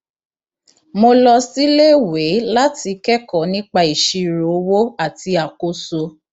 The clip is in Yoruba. mo lọ síléèwé láti kẹkọọ nípa ìṣírò owó àti àkóso